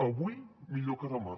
avui millor que demà